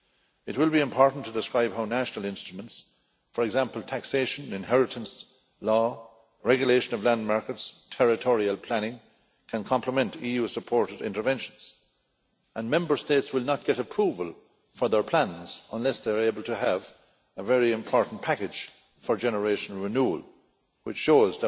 It will be important to describe how national instruments for example taxation, inheritance law, regulation of land markets, territorial planning can complement EU supported interventions, and Member States will not get approval for their plans unless they are able to have a very important package for generational renewal, which is